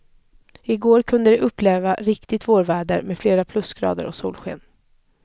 I går kunde de uppleva riktigt vårväder, med flera plusgrader och solsken.